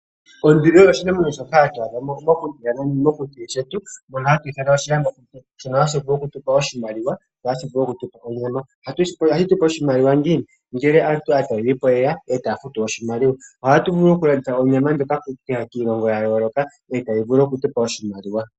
Onduli osho oshinamwenyo shoka hatu adha mokuti shono hatu shono hashi vulu okutupa oshimaliwa nonyama ohashi tupe oshimaliwa ngiini? Ngele aatalelipo yeya eta ye tupe oshimaliwa ohatu vulu okulanditha onyama ndjoka kiilongo yaayooloka etaye tupe oshimaliwa.